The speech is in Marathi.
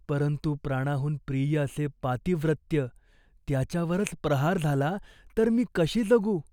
परंतु प्राणाहून प्रिय असे पातिव्रत्य त्याच्यावरच प्रहार झाला तर मी कशी जगू ?